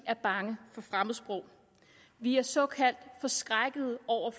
er bange for fremmedsprog at vi er såkaldt forskrækkede over